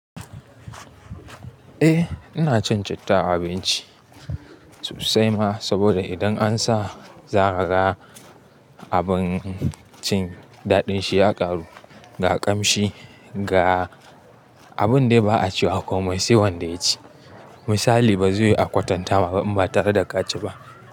Eh ina cin citta a abinci sosai ma sabida idan an sa zakaga abincin daɗin shi ya ƙaru ga ƙamshi ga abun dai ba a cewa komai sai wanda ya ci. Misali ba zai yi a kwatanta ma ba in ba tare da kaci ba.